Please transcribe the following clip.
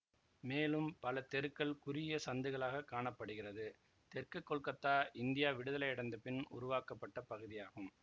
மேலும் பல தெருக்கள் குறுகிய சந்துகளாக காண படுகிறது தெற்கு கொல்கத்தா இந்தியா விடுதலை அடைந்த பின் உருவாக்கப்பட்ட பகுதியாகும்